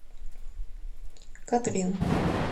катрин